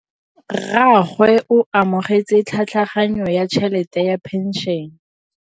Rragwe o amogetse tlhatlhaganyô ya tšhelête ya phenšene.